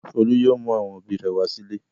Folú yóò mú àwọn òbí-òbí rẹ̀ wá sílé.